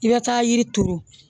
I bɛ taa yiri turu